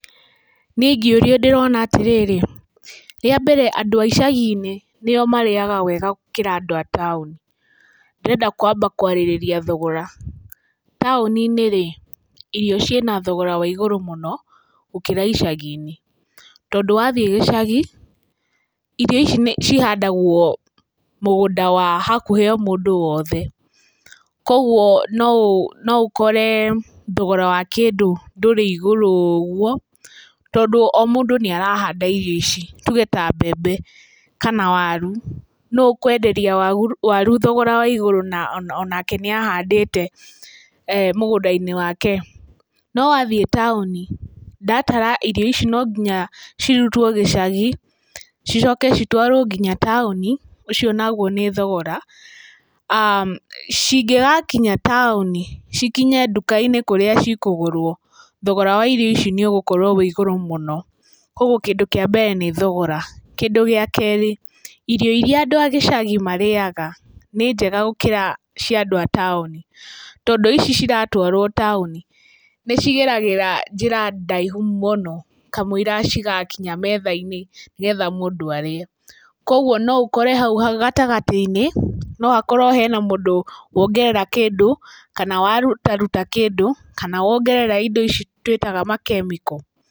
Niĩ ingĩũrio ndĩrona atĩrĩrĩ, rĩa mbere andũ a icagi-inĩ, nĩo marĩaga wega gũkĩra andũ a taũni. Ndĩrenda kũamba kũarĩrĩria thogora. Tauninĩ-rĩ, irio ciĩna thogora waigũrũ mũno gũkĩra icagi-inĩ, tondũ wathiĩ gĩcagĩ, irio ici cihandagũo mũgũnda wa hakuhĩ mũndũ wothe. Koguo no ũkore thogora wa kĩndũ ndũrĩ igũrũ ũguo, tondũ o mũndũ nĩarahanda irio ici tuge ta mbembe kana waru. Nũ ũkũenderia waru thogora wa igũrũ na onake nĩ ahandĩte mũgũnda-inĩ wake? No wathiĩ taũni, ndatara irio ici no nginya cirutwo gĩcagi cicoke citwarũo nginya taũni, ũcio naguo nĩ thogora. Cingĩgakinya taũni, cikinye nduka-inĩ kũrĩa cikũgũrũo, thogora wa irio ici nĩ ugũkorũo wĩ igũrũ mũno. Koguo kĩndũ kĩa mbere nĩ thogora, kĩndũ gĩa kerĩ, irio iria andũ a gĩcagi marĩaga nĩ njega gũkĩra cia andũ a taũni. Tondũ ici iratũarũo taũni ni cigeragira njĩra ndaihu mũno kamũira cigakinya methai-inĩ nĩgetha mũndũ arĩe, koguo no ũkore hau gatagatĩ-inĩ no hakorũo he na mũndũ wongerera kĩndũ kana warutaruta kĩndũ kana wongerera indo ici tũĩtaga ma chemical.